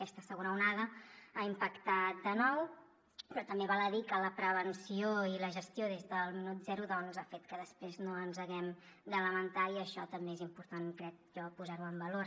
aquesta segona onada ha impactat de nou però també val a dir que la prevenció i la gestió des del minut zero ha fet que després no ens haguem de lamentar i això també és important crec jo posar ho en valor